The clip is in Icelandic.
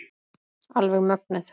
Alveg mögnuð.